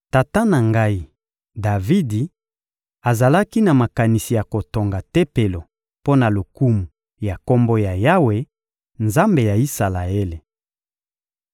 Tata na ngai, Davidi, azalaki na makanisi ya kotonga Tempelo mpo na lokumu ya Kombo ya Yawe, Nzambe ya Isalaele.